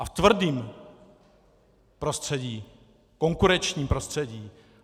A ve tvrdém prostředí, konkurenčním prostředí.